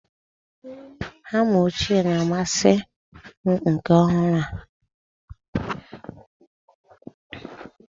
Hama ochie na-amasị m nke ọhụrụ a.